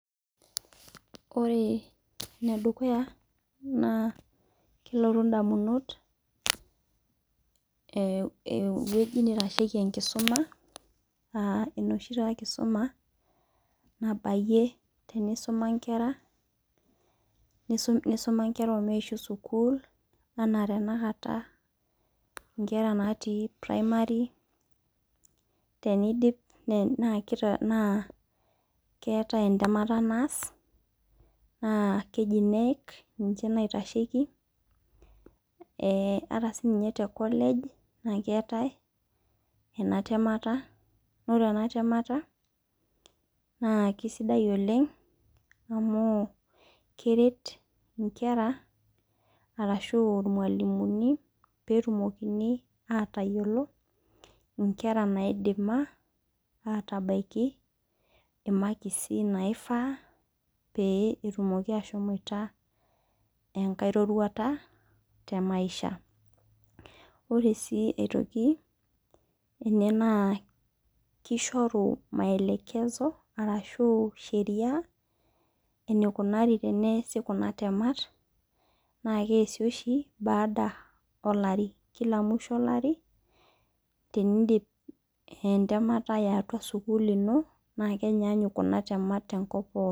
Ore ene dukuya naa kelotu idamunot eweji naitasheki enkisuma aa enoshi taa kisuma nabaiyie teneisuma inkera nisuma inkera omeishu sukul anaa tanakata inkera naati primary teneidip naa keetai entemeta naas na keji KNEC ninche naiitesheki. Hata sii ninye te college naa keetae ena temeta naa ore ena temeta na kisidai oleng' amu keret inkera arashu irmalimuni peetumokini atayiolo inkera naidima atabaiki imakisi naifaa pee etumoki ashomoita enkae roruata te maisha ore sii aitoki ene naa kishoru maelekezo rashu sheria eneikunari teneesi kuna temat naa keesi oshi baada oo lari kila musho olari tenidip entamata ee atua sukul ino naa kenyanyuk kuna temat tenkop pookin.